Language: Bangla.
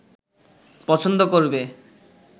পছন্দ করবে